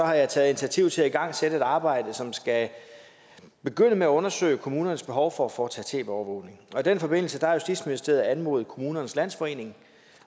har jeg taget initiativ til at igangsætte et arbejde som skal begynde med at undersøge kommunernes behov for at foretage tv overvågning og i den forbindelse har justitsministeriet anmodet kommunernes landsforening